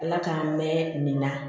Ala k'an mɛn nin na